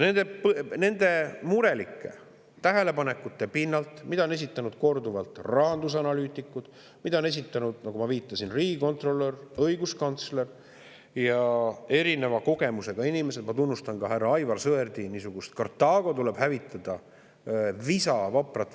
Nende murelike tähelepanekute pinnalt, mida on esitanud korduvalt rahandusanalüütikud ning mida on esitanud, nagu ma viitasin, riigikontrolör, õiguskantsler ja erineva kogemusega inimesed, ma tunnustan ka härra Aivar Sõerdi niisugust visa ja vaprat võitlust – Kartaago tuleb hävitada!